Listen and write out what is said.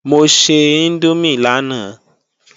Mo se índómì lánàá